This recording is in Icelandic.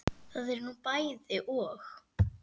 Það er nú bæði og.